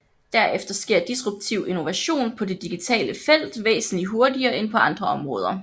Derfor sker disruptiv innovation på det digitale felt væsentligt hurtigere end på andre områder